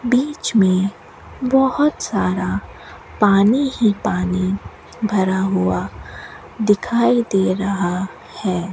बीच में बहुत सारा पानी ही पानी भरा हुआ दिखाई दे रहा है।